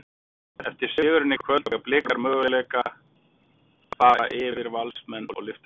Eftir sigurinn í kvöld, eiga Blikar möguleika fara yfir Valsmenn og lyfta bikar?